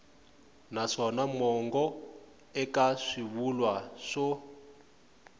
naswona mongo eka swivulwa swo